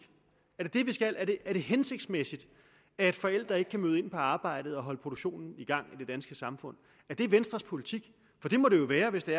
er det det vi skal er det hensigtsmæssigt at forældre ikke kan møde ind på arbejdet og holde produktionen i gang i det danske samfund er det venstres politik for det må det jo være hvis det